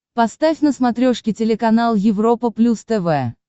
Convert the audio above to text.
поставь на смотрешке телеканал европа плюс тв